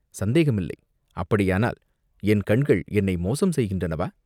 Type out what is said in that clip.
"சந்தேகம் இல்லை!" "அப்படியானால், என் கண்கள் என்னை மோசம் செய்கின்றனவா?